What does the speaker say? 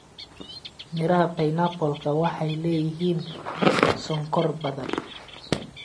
Midhaha pineapple-ka waxay leeyihiin sonkor badan.